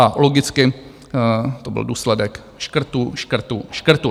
A logicky to byl důsledek škrtů, škrtů, škrtů.